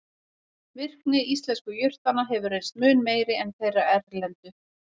Virkni íslensku jurtanna hefur reynst mun meiri en þeirra erlendu.